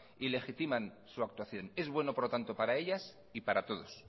y legitiman su actuación es bueno por lo tanto para ellas y para todos